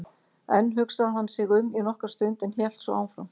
Enn hugsaði hann sig um í nokkra stund en hélt svo áfram